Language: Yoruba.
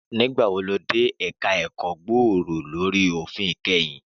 Nígbà wo lo dé ẹ̀ka ẹ̀kọ́ gbòòrò lórí òfin kẹ́yìn?